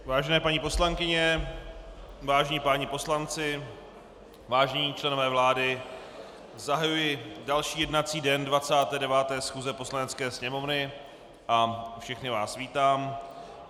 Vážené paní poslankyně, vážení páni poslanci, vážení členové vlády, zahajuji další jednací den 29. schůze Poslanecké sněmovny a všechny vás vítám.